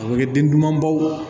A bɛ kɛ den duguma baw